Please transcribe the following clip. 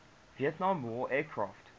vietnam war aircraft